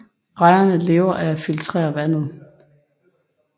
Rejerne lever af at filtrere vandet